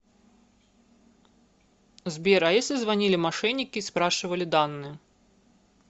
сбер а если звонили мошенники и спрашивали данные